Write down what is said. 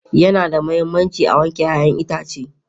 Yana da mahimmanci a wanke 'ya'yan itace